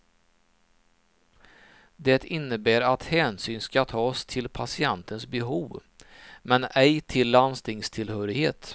Det innehär att hänsyn ska tas till patientens behov, men ej till landstingstillhörighet.